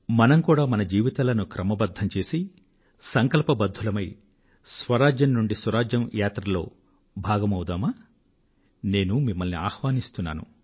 మనం కూడా మన జీవితాలను క్రమబద్ధం చేసి సంకల్పబద్ధులమై స్వరాజ్యం నుండి సురాజ్యం యాత్రలో భాగమవుదామా నేను మిమ్మల్ని ఆహ్వానిస్తున్నాను